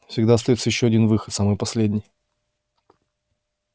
всегда остаётся ещё один выход самый последний